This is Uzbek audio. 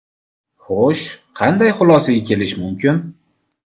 Xo‘sh, qanday xulosaga kelish mumkin?